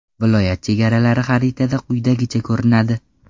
Viloyat chegaralari xaritada quyidagicha ko‘rinadi.